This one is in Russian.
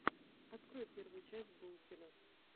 открой первую часть булкина